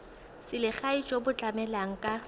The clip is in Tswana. selegae jo bo tlamelang ka